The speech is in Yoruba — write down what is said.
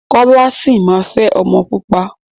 Kọ́lá sì máa fẹ́ ọmọ pupa.